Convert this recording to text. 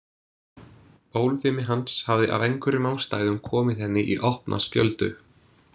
Bólfimi hans hafði af einhverjum ástæðum komið henni í opna skjöldu.